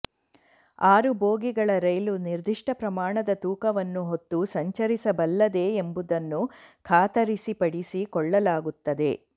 ಆರು ಬೋಗಿಗಳ ರೈಲು ನಿರ್ದಿಷ್ಟ ಪ್ರಮಾಣದ ತೂಕವನ್ನು ಹೊತ್ತು ಸಂಚರಿಸಬಲ್ಲದೇ ಎಂಬುದನ್ನು ಖಾತರಿಪಡಿಸಿಕೊಳ್ಳಲಾಗುತ್ತದೆ